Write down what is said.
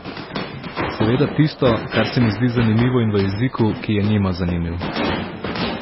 Seveda tisto, kar se mi zdi zanimivo in v jeziku, ki je njima zanimiv.